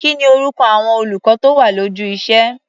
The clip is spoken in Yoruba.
Kí ni orúkọ àwọn olùkọ́ tó wà lójú iṣé?